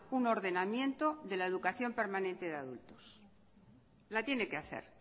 un ordenamiento de la educación permanente de adultos la tiene que hacer